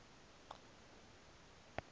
callertonville